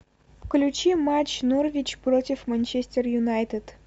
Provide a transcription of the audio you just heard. включи матч норвич против манчестер юнайтед